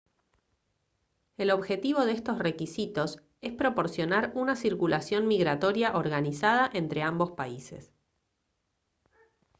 el objetivo de estos requisitos es proporcionar una circulación migratoria organizada entre ambos países